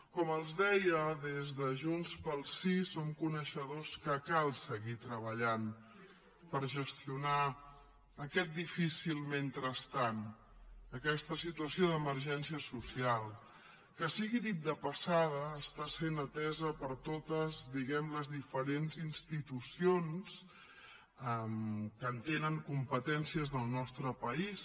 com els deia des de junts pel sí som coneixedors que cal seguir treballant per gestionar aquest difícil mentrestant aquesta situació d’emergència social que sigui dit de passada està sent atesa per totes diguem ne les diferents institucions que en tenen competències al nostre país